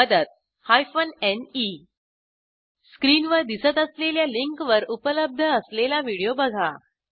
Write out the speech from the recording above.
मदत ने स्क्रीनवर दिसत असलेल्या लिंकवर उपलब्ध असलेला व्हिडिओ बघा